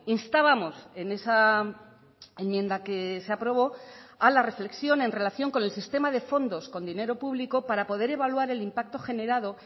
instábamos en esa enmienda que se aprobó a la reflexión en relación con el sistema de fondos con dinero público para poder evaluar el impacto generado